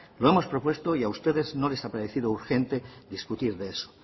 lo hemos propuesto y a ustedes no les ha parecido urgente discutir de eso